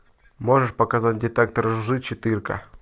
можешь показать детектор лжи четыре ка